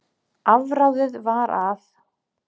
Afráðið var að